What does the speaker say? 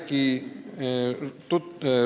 Aitäh!